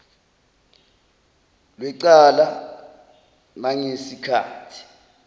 lwecala nangesi khathi